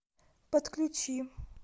подключи